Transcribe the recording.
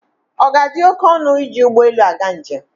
Ọ ga-adị oké ọnụ iji ụgbọ elu aga njem?